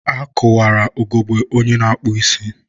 a kụwara ugogbe onye na-akpụ isi.